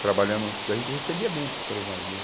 Trabalhando, porque a gente recebia bem pelos navio.